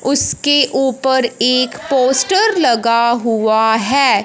उसके ऊपर एक पोस्टर लगा हुआ हैं।